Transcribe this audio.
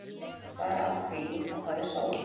Bara af því að það er sól.